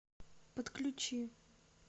подключи